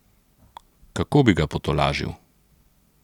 Kako bi ga potolažil?